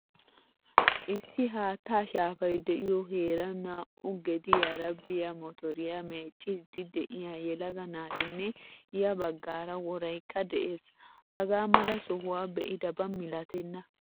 UIssi haattaa shaafay deiyo heeran naa'u gediyara biya motoriyaa meeccidi de'iyaa yelaga naatinne yaa baggara woraykka de'ees. Hagaa mala sohuwan be'idaba milattena.